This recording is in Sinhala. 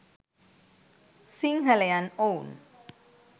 සිංහලයන් ඔවුන්